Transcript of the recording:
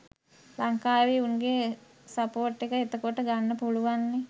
ලංකාවේ උන්ගේ සපෝර්ට් එක එතකොට ගන්න පුළුවන්නේ